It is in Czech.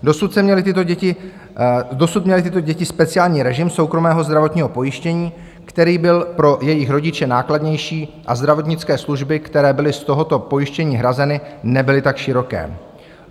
Dosud měly tyto děti speciální režim soukromého zdravotního pojištění, který byl pro jejich rodiče nákladnější, a zdravotnické služby, které byly z tohoto pojištění hrazeny, nebyly tak široké.